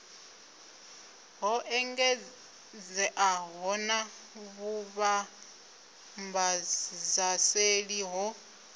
ho engedzeaho na vhuvhambadzaseli ho